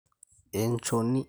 Enchoni